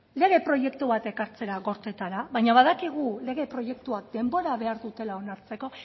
lege proiektu bat ekartzea gorteetara baina badakigu lege proiektuak denbora behar dutela onartzeko